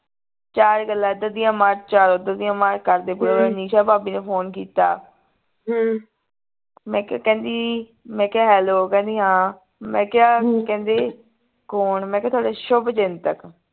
ਚਾਰ ਗੱਲਾਂ ਇਧਰ ਦੀਆਂ ਮਾਰ ਚਾਰ ਓਧਰ ਦੀਆਂ ਮਾਰ ਕਰਦੇ ਪੂਰਾ ਨਿਸ਼ਾ ਭਾਭੀ ਨੂੰ ਫੋਨ ਕੀਤਾ ਮੈਂ ਕਿਹਾ ਕਹਿੰਦੀ ਮੈਂ ਕਿਹਾ hello ਕਹਿੰਦੀ ਹਾਂ ਮੈਂ ਕਿਹਾ ਕਹਿੰਦੀ ਕੌਣ ਮੈਂ ਕਿੱਹ ਥੋਡੇ ਸ਼ੁਭਚਿੰਤਕ